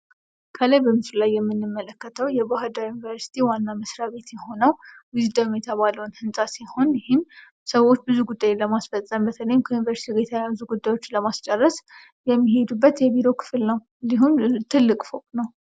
ከላይ በምስሉ በላይ የምንመለከተው የባህር ዳር ዩኒቨርሲቲ ዋና መስሪያ ቤት የሆነው ዊዝደም የተባለውን ህንፃ ሲሆን ይህም ሰዎች ብዙ ጉዳይ ለማስፈጸም በተለይም ከዩኒቨርስቲው የተያዙ ጉዳዮችን ለማስጨረስ የሚሄዱበት የቢሮ ክፍል ነው ።እንዲሁም ትልቅ ፎቅ ነው።